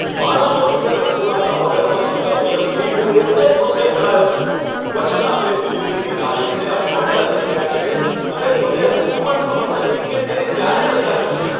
મારા મોડ્યુલર રસોડાના ઓર્ડરમાં થતા વિલંબથી હું એકદમ ગુસ્સે ભરાયો છું. વચન આપેલ ડિલિવરીની તારીખને અઠવાડિયા થઈ ગયા છે, અને મને હજુ પણ ખબર નથી કે તે ક્યારે તૈયાર થશે.